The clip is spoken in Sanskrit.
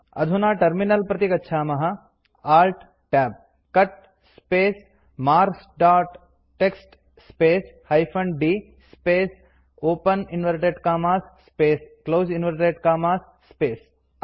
अधुना टर्मिनल प्रति गच्छामः Alt Tab cut space marks dot TXT space hyphen d space open inverted commas space close inverted commas space